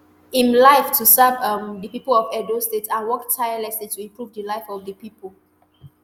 im life to serve um di pipo of edo state and work tirelessly to improve di life of di pipo